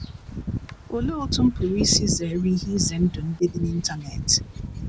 "Olee otú m pụrụ isi zere ihe ize ndụ ndị dị n’Internet?"